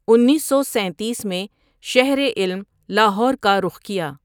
انیس سو سینتیس میں شہر علم لاہور کا رُخ کیا ۔